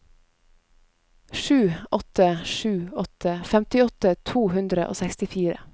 sju åtte sju åtte femtiåtte to hundre og sekstifire